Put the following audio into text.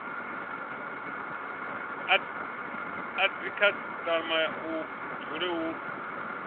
a dzikhasitama hu dzule hu